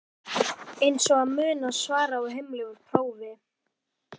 Eins og að muna svarið á heimleið úr prófi?